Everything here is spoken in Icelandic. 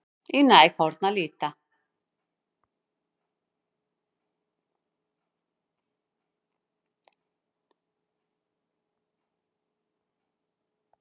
Í næg horn að líta